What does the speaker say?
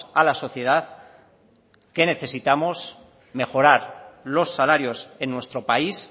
a la sociedad que necesitamos mejorar los salarios en nuestro país